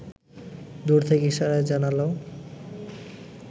দূর থেকে ইশারায় জানাল